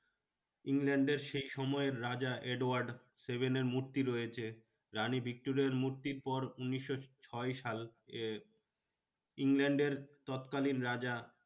ইংল্যান্ডের সেই সময়ের রাজা এডওয়ার্ড seven মূর্তি রয়েছে। রানী ভিক্টোরিয়ার মূর্তির পর উনিশশো ছয় সাল এ ইংল্যান্ডের তৎকালীন রাজা